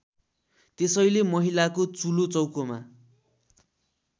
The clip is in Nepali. त्यसैले महिलाको चुलोचौकोमा